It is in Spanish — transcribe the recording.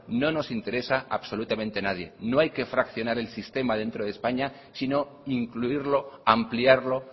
no nos interesa absolutamente a nadie no hay que fraccionar el sistema dentro de españa sino incluirlo ampliarlo